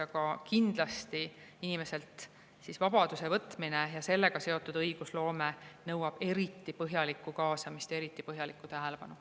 Aga kindlasti nõuab inimeselt vabaduse võtmine ja sellega seotud õigusloome eriti põhjalikku kaasamist ja eriti põhjalikku tähelepanu.